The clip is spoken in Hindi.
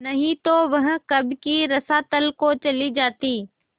नहीं तो वह कब की रसातल को चली जाती